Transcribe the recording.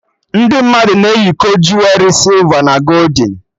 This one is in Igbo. Ndị mmadụ na eyikọ juwerị sịlva na goldin